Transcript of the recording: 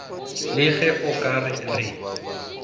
le ge o ka re